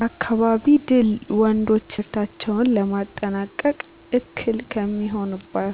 በአካባቢ ድል ወንዶች ትምህርታቸውን ለማጠናቀቅ እክል ከሚሆኑባቸዊ